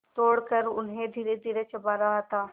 तोड़कर उन्हें धीरेधीरे चबा रहा था